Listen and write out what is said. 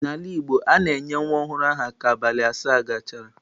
N'ala Igbo, a na-enye nwa ọhụrụ aha ka abalị asaa gachara.